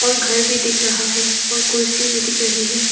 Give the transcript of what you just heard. और घर भी दिख रहा है और कुर्सी भी दिख रही है।